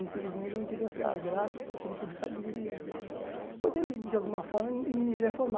Infelizmente, eu não tive essa graça, essa felicidade de de poder, de alguma forma, me me ver